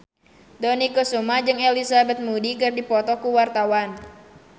Dony Kesuma jeung Elizabeth Moody keur dipoto ku wartawan